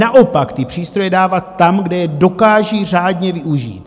Naopak, ty přístroje dávat tam, kde je dokážou řádně využít.